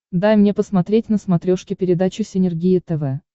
дай мне посмотреть на смотрешке передачу синергия тв